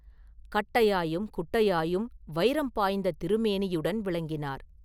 கட்டையாயும் குட்டையாயும் வைரம் பாய்ந்த திருமேனியுடன் விளங்கினார்.